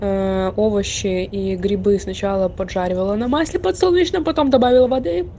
овощи и грибы сначала поджаривала на масле подсолнечном потом добавила воды